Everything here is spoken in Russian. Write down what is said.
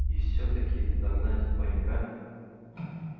и всё-таки догнать паренька